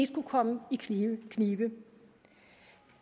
skulle komme i knibe